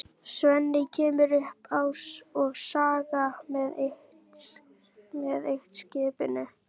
Svenni kemur upp á Skaga með eitt-skipinu.